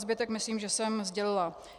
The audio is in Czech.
Zbytek, myslím, že jsem sdělila.